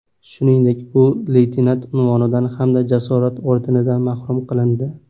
Shuningdek, u leytenant unvonidan hamda Jasorat ordenidan mahrum qilindi.